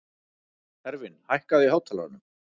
Hervin, hækkaðu í hátalaranum.